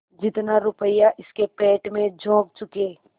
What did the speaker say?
जितना रुपया इसके पेट में झोंक चुके